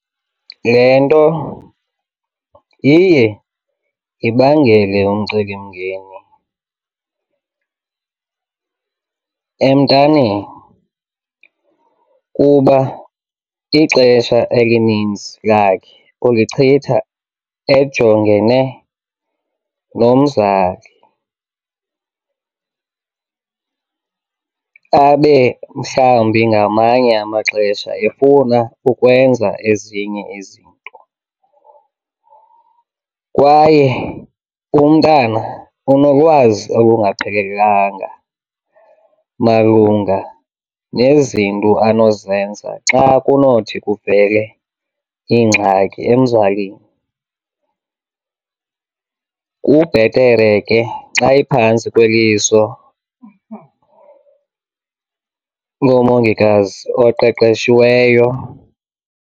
Le nto iye ibangele umcelimngeni emntaneni kuba ixesha elininzi lakhe ulichitha ejongene nomzali abe mhlawumbi ngamanye amaxesha efuna ukwenza ezinye izinto. Kwaye umntana unolwazi olungaphelelanga malunga nezinto anozenza xa kunothi kuvele iingxaki emzalini, kubhetere ke xa iphantsi kweliso lomongikazi oqeqeshiweyo.